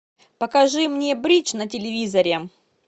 покажи мне бридж на телевизоре